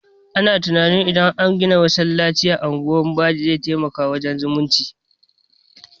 Ana tunanin idan an gina masallacin a unguwar badi zai taimaka wurin zumunci